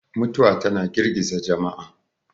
mutuwa tana girgiza jama'a